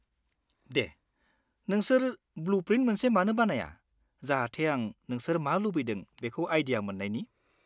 दे, नोंसोर ब्लु-प्रिन्ट मोनसे मानो बानाया, जाहाथे आं नोंसोर मा लुबैदों बेखौ आइडिया मोन्नायनि।